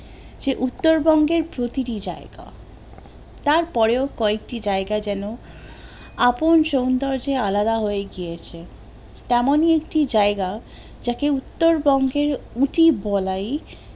সে উত্তর বঙ্গের প্রতিটি জায়গা তার পরেও কয়েকটি জায়গা যেন আপন সৌন্দর্যে আলাদা হয়ে গিয়েছে, তেমনি একটি জায়গা, যাকে উত্তর বঙ্গের উটি বলাই